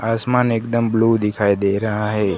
आसमान एकदम ब्लू दिखाई दे रहा है।